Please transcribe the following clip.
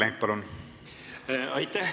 Aitäh!